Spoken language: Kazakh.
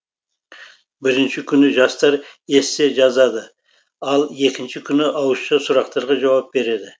бірінші күні жастар эссе жазады ал екінші күні ауызша сұрақтарға жауап береді